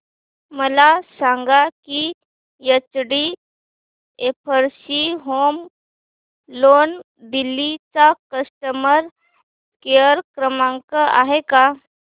मला सांगा की एचडीएफसी होम लोन दिल्ली चा कस्टमर केयर क्रमांक आहे का